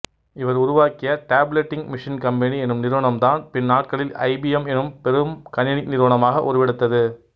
இவர் உருவாக்கிய tabulating machine company எனும் நிறுவனம்தான் பின்நாட்களில் ஐபியெம் எனும் பெரும் கணினி நிறுவனமாக உருவெடுத்தது